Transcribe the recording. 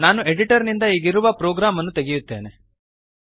ನಾನು ಎಡಿಟರ್ ನಿಂದ ಈಗಿರುವ ಪ್ರೋಗ್ರಾಮ್ ಅನ್ನು ತೆಗೆಯುತ್ತೇನೆ ಅಳಿಸುತ್ತೇನೆ